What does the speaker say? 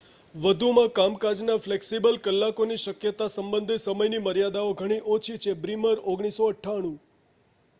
વધુમાં કામકાજના ફ્લેક્સિબલ કલાકોની શક્યતા સંબંધે સમયની મર્યાદાઓ ઘણી ઓછી છે. બ્રીમર 1998